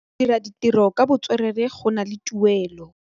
Go dira ditirô ka botswerere go na le tuelô.